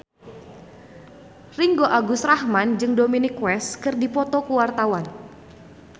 Ringgo Agus Rahman jeung Dominic West keur dipoto ku wartawan